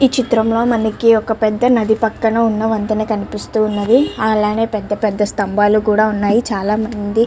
ఈ చిత్రం లో మనకి ఒక పెద్ద నది పక్కనే ఉన్న వంతెన కనిపిస్తున్నది అలానే పెద్ద పెద్ద స్తంబాలు కూడా ఉన్నాయి చాల మంది --